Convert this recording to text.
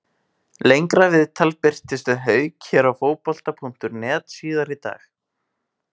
Lengra viðtal birtist við Hauk hér á Fótbolta.net síðar í dag.